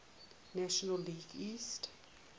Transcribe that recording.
national league east